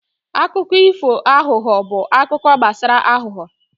akụkọ ifo aghụghọ bụ akụkọ gbasara aghụghọ